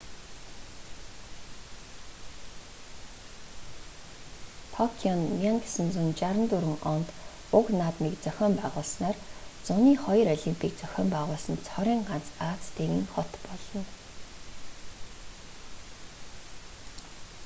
токио нь 1964 онд уг наадмыг зохион байгуулснаар зуны хоёр олимпийг зохион байгуулсан цорын ганц ази тивийн хот болно